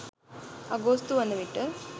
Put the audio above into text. අගෝස්තු වන විට